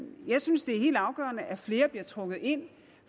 jeg synes det er helt afgørende at flere bliver trukket ind